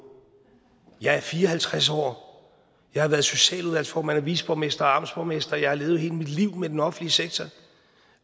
jeg er fire og halvtreds år jeg har været socialudvalgsformand og viceborgmester og amtsborgmester jeg har levet hele mit liv med den offentlige sektor